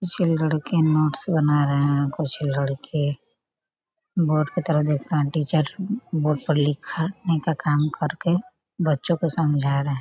छ: लड़के नोट्स बना रहे हैं कुछ लड़के बोर्ड के तरफ देख रहे हैं टीचर बोर्ड पर लिखा- लिखने का काम कर के बच्चों को समझा रहे --